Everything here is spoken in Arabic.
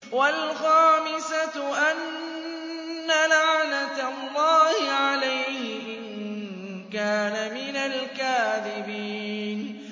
وَالْخَامِسَةُ أَنَّ لَعْنَتَ اللَّهِ عَلَيْهِ إِن كَانَ مِنَ الْكَاذِبِينَ